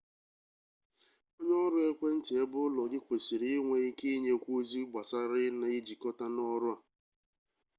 onye ọrụ ekwentị ebeụlọ gị kwesịrị inwe ike inyekwu ozi gbasara ị na-ejikọta n'ọrụ a